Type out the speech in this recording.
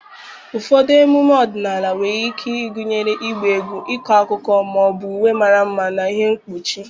Ụfọdụ emume ọdịnala nwere ike ịgụnye ịgba egwu, ịkọ akụkọ, ma ọ bụ uwe mara mma na ihe mkpuchi.